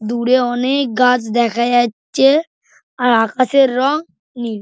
দূরে অনেক-ক গাছ দেখা যাচ্ছে আর আকাশের রং নীল।